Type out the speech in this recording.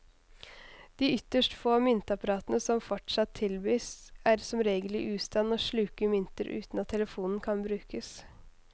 De ytterst få myntapparatene som fortsatt tilbys, er som regel i ustand og sluker mynter uten at telefonen kan brukes.